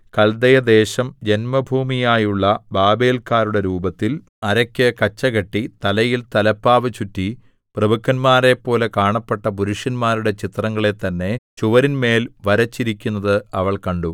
കല്ദയദേശം ജന്മഭൂമിയായുള്ള ബാബേല്‍ക്കാരുടെ രൂപത്തിൽ അരയ്ക്ക് കച്ചകെട്ടി തലയിൽ തലപ്പാവു ചുറ്റി പ്രഭുക്കന്മാരെപ്പോലെ കാണപ്പെട്ട പുരുഷന്മാരുടെ ചിത്രങ്ങളെ തന്നെ ചുവരിന്മേൽ വരച്ചിരിക്കുന്നത് അവൾ കണ്ടു